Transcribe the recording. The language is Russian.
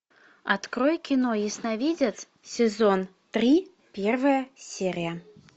открой кино ясновидец сезон три первая серия